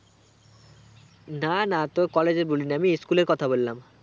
না না তোর collage এর বলিনি আমি school এর কথা বল্লাম